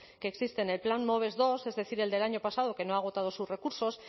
que existe en el plan moves segundo es decir el del año pasado que no ha agotado sus recursos